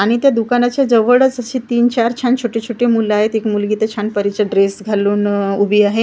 आणि त्या दुकानाच्या जवळच असे तीन चार छान छोटे-छोटे मुल आहेत एक मुलगी तर छान परीचे ड्रेस घालून उभी आहे.